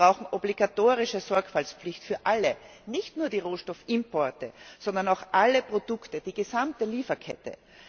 Wir brauchen eine obligatorische Sorgfaltspflicht für alle, nicht nur für die Rohstoffimporte, sondern auch für alle Produkte, für die gesamte Lieferkette.